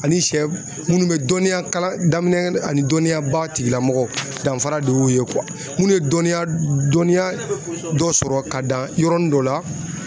Ani siyɛ minnu bɛ dɔnniya kalan daminɛ ani dɔnniya ba tigilamɔgɔ danfara de y'u ye minnu ye dɔnniya dɔnniya dɔ sɔrɔ ka dan yɔrɔnin dɔ la.